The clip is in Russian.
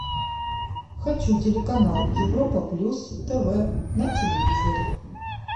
хочу телеканал европа плюс тв на телевизоре